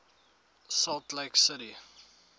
salt lake city